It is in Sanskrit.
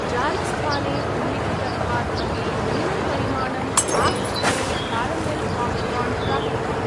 जालस्थाने उल्लिखितत्वात् अपि न्यूनं परिमाणं आक्ट् द्वे कारमेल् पाप्कार्न् प्राप्तवान्।